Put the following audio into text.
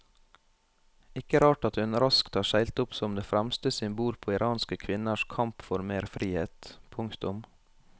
Ikke rart at hun raskt har seilt opp som det fremste symbol på iranske kvinners kamp for mer frihet. punktum